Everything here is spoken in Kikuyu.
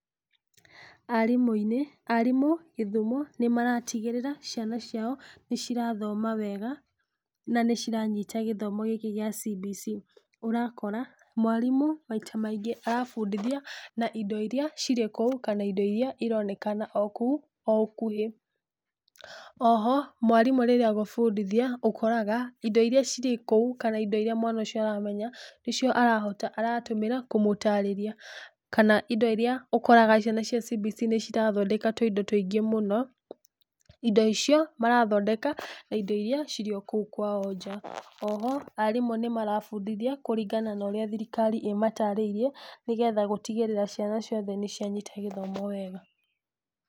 Arimu-inĩ, arimu gĩthumo, nĩ maratigĩrĩra ciana ciao nĩ cirathoma wega na nĩ ciranyita gĩthomo gĩkĩ kĩa CBC, ũrakora mwarimũ maita maingĩ arabundithia na indo iria cirĩ kũu na kana indo iria ironekana o kũu o ũkuhĩ, oho mwarimũ rĩrĩa agũbundithia indo iria cirĩ kũu kana indo iria mwana aramenya, nĩcio arahota ,nĩcio aramũtarĩria kana indo iria ũkoraga ciana cia CBC nĩ cirathondeka tuindo tũingĩ mũno , indo icio marathondeka na indo iria ciĩ kũu kwao nja, oho arimũ nĩ marabundithia kũringana na ũrĩa thirikari ĩmatarĩirie, nĩgetha gũtigĩrĩra ciana ciothe nĩ cia nyita gĩthomo wega.